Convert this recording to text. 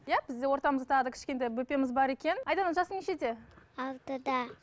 иә бізде ортамызда тағы да кішкентай бөпеміз бар екен айдана жасың нешеде алтыда